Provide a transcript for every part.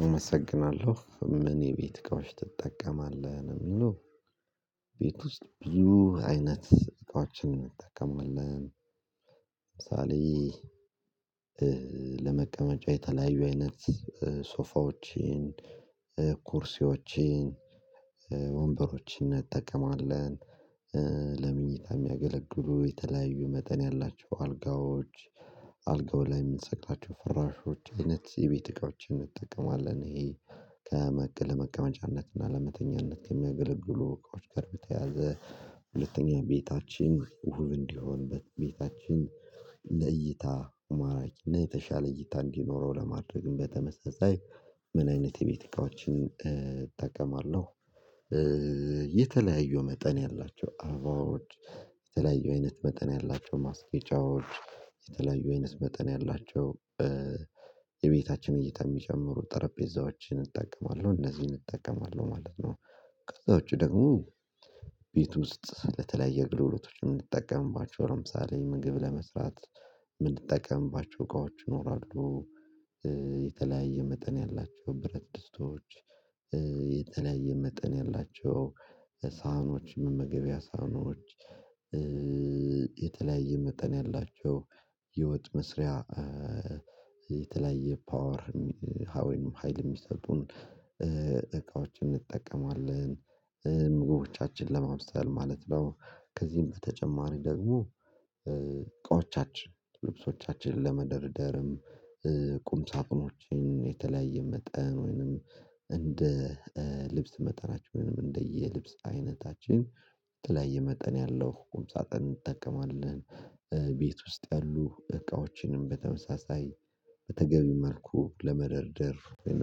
አመሰግናለሁ ምን የቤት እቃዎች ትጠቀማለህ? የሚሉ ቤት ውስጥ ብዙ አይነት እቃዎችን እንጠቀማለን ለምሳሌ ለምሳሌ ለመቀመጫ የተለያዩ አይነት ሶፋዎችን ኩርሴዎችን ወንበሮችን እንጠቀማለን ለመኝታ የሚያገለግሉ የተለያዩ መጠን ያላቸው አልጋዎች አልጋው ላይ የምንሰቅላቸው ፍራሾች አይነት የቤት እቃዎችን ይሄ ከመቀመጫነት እና ለመተኛነት ከሚያገለግሉ እቃዎች ቀርብ ተያዘ ሁለተኛ ቤታችን እሁብ እንዲሆንበት ቤታችን እንደ እይታ ማራጭ የተሻለ እይታ እንዲኖረው ለማድረግም በተመሳሳይ ምን አይነት የቤት እቃዎችን እጠቀማለሁ የተለያዩ መጠን ያላቸው አባውድ የተለያዩ አይነት መጠን ያላቸው ማስጌጫዎች የተለያዩ አይነት መጠን ያላቸው የቤታችን እይታ የሚጨምሩ ጠረጴዛዎችን እጠቀማለሁ እነዚህን እጠቀማለሁ ማለት ነው ከዛ ውጪ ደግሞ ቤት ውስጥ ለተለያየ ግልሎቶች የምንጠቀምባቸው ለምሳሌ ምግብ ለመስራት የምንጠቀምባቸው እቃዎች ይኖራሉ የተለያየ መጠን ያላቸው ብረት ድስቶች የተለያየ መጠን ያላቸው ሳህኖች መመገቢያ ሳህኖች የተለያየ መጠን ያላቸው ህይወት መስሪያ የተለያየ ፓወር ሀይል የሚሰጡን እቃዎችን እንጠቀማለን ምግቦቻችን ለማምሰል ማለት ነው ከዚህም በተጨማሪ ደግሞ እቃዎቻችን ልብሶቻችንን ለመደርደርም ቁም ሳጥኖችን የተለያየ መጠን ወይንም እንደ ልብስ መጠናቸውንም እንደየልብስ አይነታችን በተለያየ መጠን ያለው ቁም ሳጥን እንጠቀማለን ቤት ውስጥ ያሉ እቃዎችንም በተመሳሳይ በተገቢ መልኩ ለመደርደር ወይም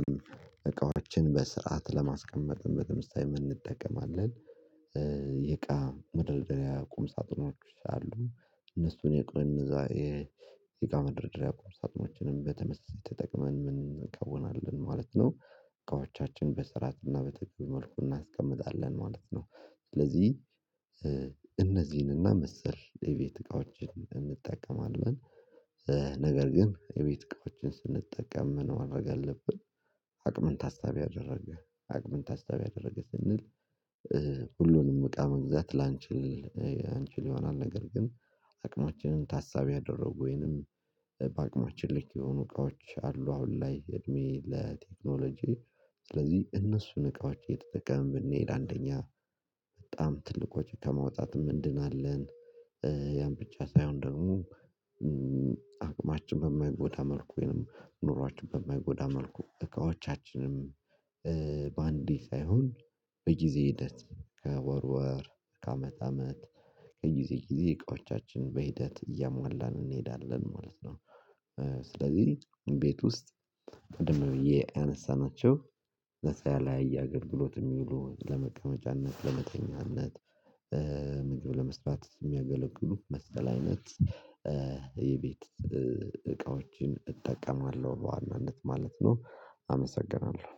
እቃዎችን በስርዓት ለማስቀመጥ በተመሳሳይ እንጠቀማለን የእቃ ምድርደሪያ ቁም ሳጥኖች አሉ እነሱን የቆየን እነዛ የእቃ መደርደሪያ ቁም ሳጥኖችንም በተመሳሳይ ተጠቅመን ምን እንቃወማለን ማለት ነው እቃዎቻችን በስርዓትና በተገቢ መልኩ እናስቀምጣለን ማለት ነው ስለዚህ እነዚህንና መሰል የቤት እቃዎችን እንጠቀማለን ነገር ግን የቤት እቃዎችን ስንጠቀም መኖር አለብን አቅምን ታስታቢ አደረገ አቅምን ታሳቢ ያደረገ ስንል ሁሉንም እቃ መግዛት ላንችል እንችል ይሆናል ነገር ግን አቅማችንን ታሳቢ ያደረጉ ወይንም በአቅማችን ላይ የሆኑ እቃዎች አሉ አሁን ላይ እድሜ ለቴክኖሎጂ ስለዚህ እነሱን እቃዎች እየተጠቀመን ብንሄድ አንደኛ በጣም ትልቆች ከማውጣት ምንድን አለን ያን ብቻ ሳይሆን ደግሞ አቅማችን በማይጎዳ መልኩ ወይንም ኑሯችን በማይጎዳ መልኩ እቃዎቻችንም በአንዲት ሳይሆን በጊዜ ሂደት ከወር ወር ከአመት አመት ከጊዜ ጊዜ እቃዎቻችን በሂደት እያሟላን እንሄዳለን ማለት ነው ስለዚህ ቤት ውስጥ ቀድመው ብዬ ያነሣናቸው ነፃ ያላየ አገልግሎት የሚውሉ ለመቀመጫነት ለመተኛነት ምግብ ለመስራት የሚያገለግሉ መሰል አይነት የቤት እቃዎችን እጠቀማለሁ በዋናነት ማለት ነው አመሰግናለሁ